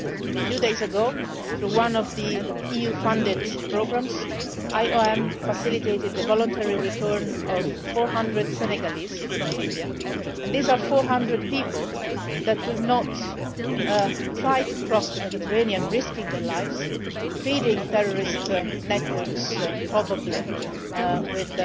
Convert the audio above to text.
A few days ago, through one of the EU funded programmes, the IOM facilitated the voluntary return of 400 Senegalese from Libya and these are 400 people that will not try to cross the Mediterranean, risking their lives, feeding terrorist networks probably